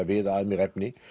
viða að mér efni